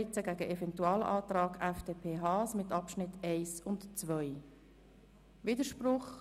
Sonst hätte das meine Synopsis völlig durcheinandergebracht.